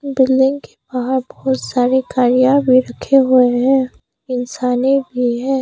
Building के बाहर बहुत सारे गाड़िया भी रखे हुए हैं इंसाने भी है।